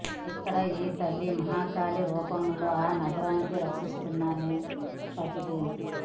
ఇక్కడ ఈ తల్లి మహంకాళీ రూపంలో ఆ నగరాన్ని రక్షిస్తోందని ప్రతీతి